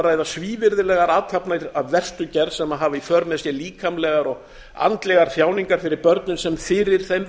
ræða svívirðilegar athafnir af verstu gerð sem hafa í för með sér líkamlegar og andlegar þjáningar fyrir börnin sem fyrir þeim